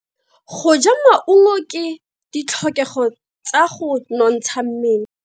Go ja maungo ke ditlhokego tsa go nontsha mmele.